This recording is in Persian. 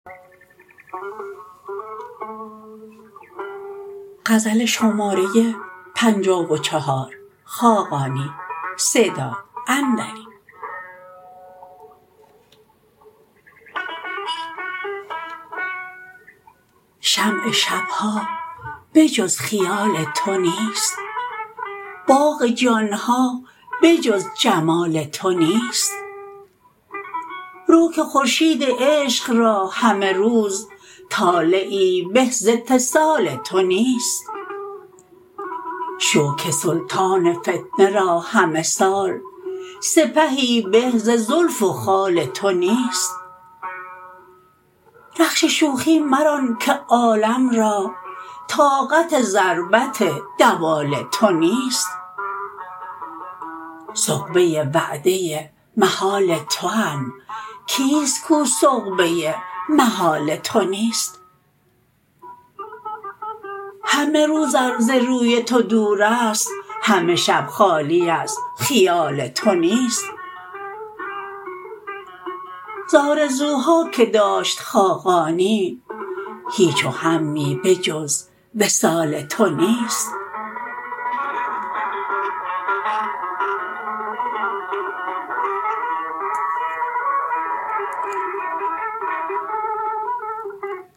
شمع شب ها بجز خیال تو نیست باغ جان ها بجز جمال تو نیست رو که خورشید عشق را همه روز طالعی به ز اتصال تو نیست شو که سلطان فتنه را همه سال سپهی به ز زلف و خال تو نیست رخش شوخی مران که عالم را طاقت ضربت دوال تو نیست سغبه وعده محال توام کیست کو سغبه محال تو نیست همه روز ار ز روی تو دورست همه شب خالی از خیال تو نیست ز آرزوها که داشت خاقانی هیچ وهمی بجز وصال تو نیست